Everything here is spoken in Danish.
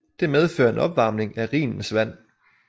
Det medfører en opvarmning af Rhinens vand